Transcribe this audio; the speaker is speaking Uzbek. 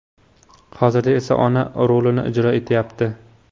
Hozirda esa ona rolini ijro etyapti.